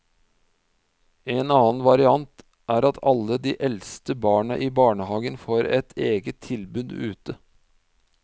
En annen variant er at alle de eldste barna i barnehagen får et eget tilbud ute.